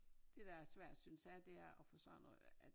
Det der er svært synes jeg det er at få sådan noget dér at